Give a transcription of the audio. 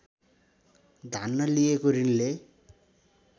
धान्न लिएको ऋणले